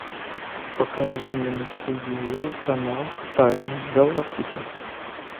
покажи мне на телевизоре канал тайны галактики